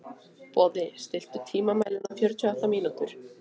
Boði, stilltu tímamælinn á fjörutíu og átta mínútur.